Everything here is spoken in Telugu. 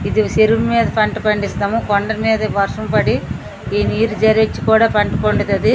ఇది చెరువు మీద పంట పండిస్తాము కొండ మీద వర్షం పడి ఈ నీరు జరిచ్చి కూడా పంట పండుతాది.